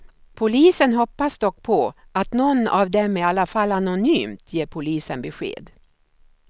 Polisen hoppas dock på att någon av dem i alla fall anonymt ger polisen besked.